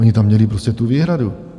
Ony tam měly prostě tu výhradu.